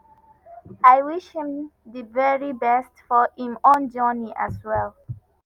i dey wish him di very best for im own journey as well.”